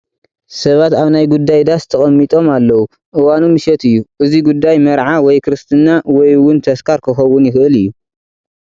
ሰባት ኣብ ናይ ጉዳይ ዳስ ተቐሚጦም ኣለዉ፡፡ እዋኑ ምሸት እዩ፡፡ እዚ ጉዳይ መርዓ ወይ ክርስትና ወይ እውን ተስካር ክኸውን ይኽእል እዩ፡፡